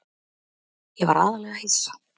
Ég var aðallega hissa.